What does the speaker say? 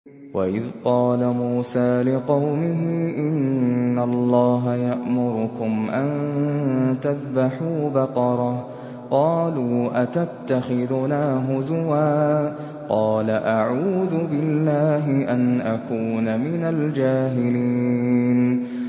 وَإِذْ قَالَ مُوسَىٰ لِقَوْمِهِ إِنَّ اللَّهَ يَأْمُرُكُمْ أَن تَذْبَحُوا بَقَرَةً ۖ قَالُوا أَتَتَّخِذُنَا هُزُوًا ۖ قَالَ أَعُوذُ بِاللَّهِ أَنْ أَكُونَ مِنَ الْجَاهِلِينَ